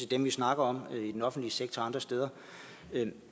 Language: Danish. dem vi snakker om i den offentlige sektor og andre steder